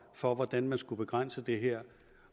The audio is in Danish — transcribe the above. for hvordan man skulle begrænse det her